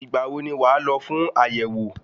Ìgbà wo ni wàá lọ fún àyẹ̀wò?